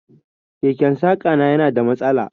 Keken saƙa na yana da mastala.